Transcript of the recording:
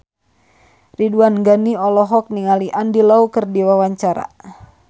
Ridwan Ghani olohok ningali Andy Lau keur diwawancara